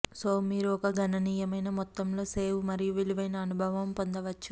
so మీరు ఒక గణనీయమైన మొత్తంలో సేవ్ మరియు విలువైన అనుభవం పొందవచ్చు